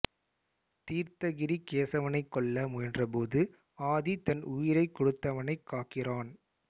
தீர்த்தகிரி கேசவனை கொல்ல முயன்றபோது ஆதி தன் உயிரைக் கொடுத்தவனைக் காக்கிறான்